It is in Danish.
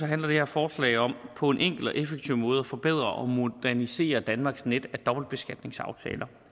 handler det her forslag om på en enkel og effektiv måde at forbedre og modernisere danmarks net af dobbeltbeskatningsaftaler